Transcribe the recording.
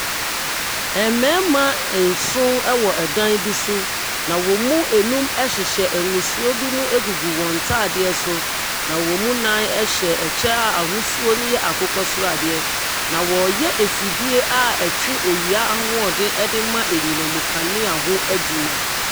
Mmarima nson ɛwɔ dan bi so na wɔn mu nnum ɛhyehyɛ ngusoɔ binom agugu wɔn ntaadeɛ so, na wɔn mu nnan ɛhyɛ ɛkyɛ a ahosuo no ɛyɛ akokɔsradeɛ. Na wɔreyɛ efidie a ɛtwe awia no ahoɔden ɛde ma anyinam nkanea ho adwuma.